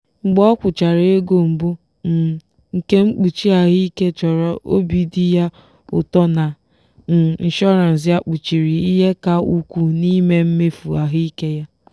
mgbe o kwụchara ego mbụ um nke mkpuchi ahụike chọrọ obi dị ya ụtọ na um inshọrans ya kpuchiri ihe ka ukwuu n'ime mmefu ahụike ya.